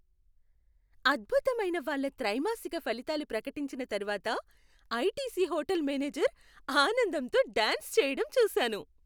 అద్భుతమైన వాళ్ళ త్రైమాసిక ఫలితాలు ప్రకటించిన తర్వాత ఐటీసీ హోటల్ మేనేజర్ ఆనందంతో డాన్స్ చేయడం చూశాను.